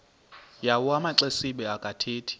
yawo amaxesibe akathethi